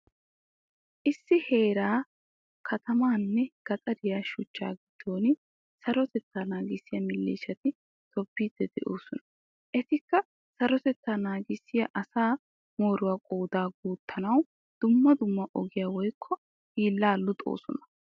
Issi heeraa katamanne gaxariya shuchcha giddon sarotetta naagisiyaa milishshaati tobbidi de'osona. Ettikka sarotettaa naagisiyaa asaa mooruwaa qooda guuttanawu dumma dummaa ogiyaa woykko hiilla luuxosona.